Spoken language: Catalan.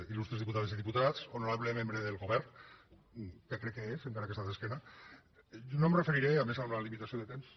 il·lustres diputades i diputats honorable membre del govern que crec que és encara que està d’esquena no em referiré i a més amb la limitació de temps